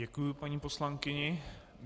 Děkuji paní poslankyni.